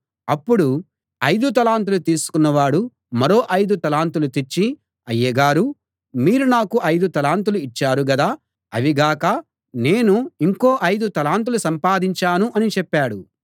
అప్పుడు ఐదు తలాంతులు తీసుకున్న వాడు మరో ఐదు తలాంతులు తెచ్చి అయ్యగారూ మీరు నాకు ఐదు తలాంతులు ఇచ్చారు కదా అవి గాక నేను ఇంకో ఐదు తలాంతులు సంపాదించాను అని చెప్పాడు